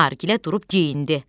Nargilə durub geyindi.